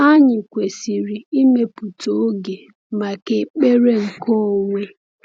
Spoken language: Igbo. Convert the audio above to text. Anyị kwesịrị ịmepụta oge maka ekpere nke onwe.